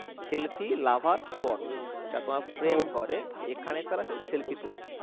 selfie lover spot যারা তোমার প্রেম করে এখানে তারা এসে selfie তোলে